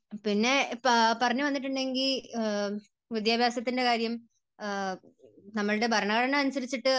പിന്നെ പറഞ്ഞു വന്നിട്ടുണ്ടെങ്കിൽ വിദ്യാഭ്യാസത്തിൻറെ കാര്യം, നമ്മുടെ ഭരണഘടന അനുസരിച്ചിട്ട്